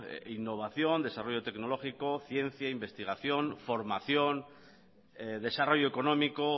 innovación desarrollo tecnológico ciencia investigación formación desarrollo económico